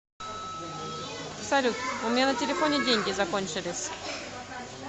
салют у меня на телефоне деньги закончились